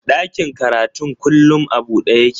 Ɗakin karatun kullum a buɗe yake